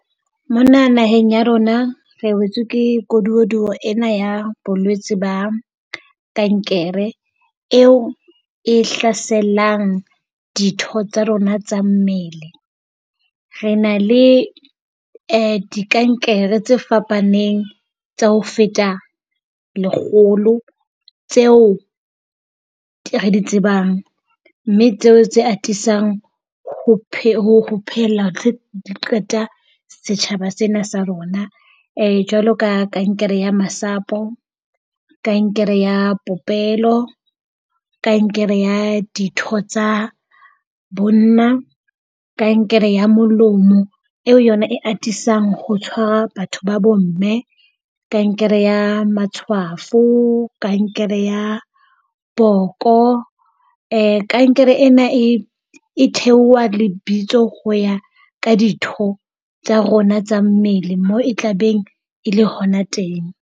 Mona naheng ya rona re wetswe ke kgodumodumo ena ya bolwetsi ba kankere eo e hlaselang ditho tsa rona tsa mmele. Re na le di kankere tse fapaneng tsa ho feta lekgolo tseo re di tsebang, mme tseo tse atisang ho ho pheella ho qeta setjhaba sena sa rona. Jwalo ka kankere ya masapo, kankere ya popelo, kankere ya ditho tsa bonna, kankere ya molomo, eo yona e atisang ho tshwara batho ba bomme. Kankere ya matshwafo, kankere ya boko. kankere ena e e theoha lebitso ho ya ka ditho tsa rona tsa mmele, moo e tla beng e le hona teng.